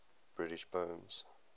british poems